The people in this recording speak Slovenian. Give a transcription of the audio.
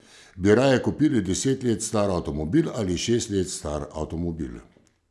Bi raje kupili deset let star avtomobil ali šest let star avtomobil?